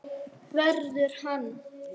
Verður hann.